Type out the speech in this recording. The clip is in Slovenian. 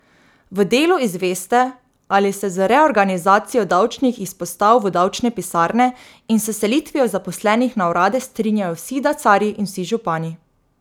V Delu izveste, ali se z reorganizacijo davčnih izpostav v davčne pisarne in s selitvijo zaposlenih na urade strinjajo vsi dacarji in vsi župani.